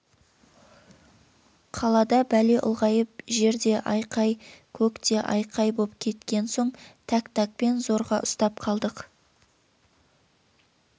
қалада бәле ұлғайып жер де айқай көк те айқай боп кеткен соң тәк-тәкпен зорға ұстап қалдық